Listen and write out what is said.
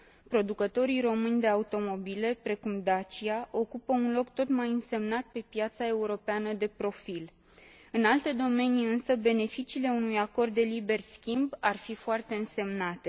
Producătorii români de automobile, precum Dacia, ocupă un loc tot mai însemnat pe piața europeană de profil. În alte domenii, însă, beneficiile unui acord de liber schimb ar fi foarte însemnate.